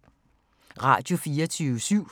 Radio24syv